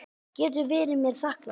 Getur verið mér þakklátur.